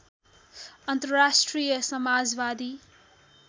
अन्तर्राष्ट्रिय समाजवादी